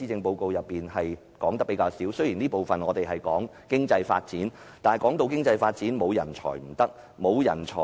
雖然第一個辯論環節主要討論經濟發展，但人才是經濟發展的重要因素。